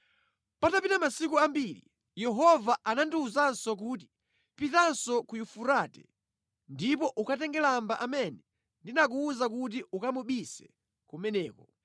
Patapita masiku ambiri Yehova anandiwuzanso kuti, “Pitanso ku Yufurate ndipo ukatenge lamba amene ndinakuwuza kuti ukamubise kumeneko.”